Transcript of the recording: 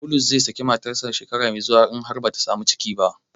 Bulus zai saki matarsa shekara mai zuwa in har bata samu ciki ba.